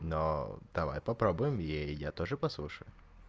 давай попробуем ей и я тоже послушаю